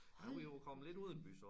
Hold nu kæft